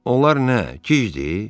Onlar nə, gicdir?